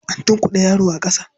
An tunkuɗe yaro a ƙasa.